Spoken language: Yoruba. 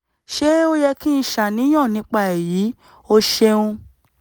ṣé ó yẹ kí n ṣàníyàn nípa èyí? o ṣeun